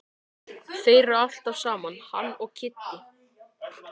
Þeir eru alltaf saman hann og Kiddi.